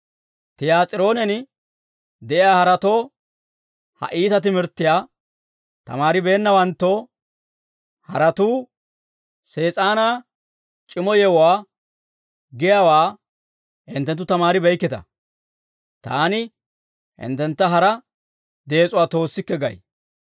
«Tiyaas'iroonen de'iyaa haratoo, ha iita timirttiyaa tamaaribeennawanttoo, haratuu, Sees'aanaa c'iimmo yewuwaa giyaawaa hinttenttu tamaaribeeykkita; taani hinttentta hara dees'uwaa toossikke gay.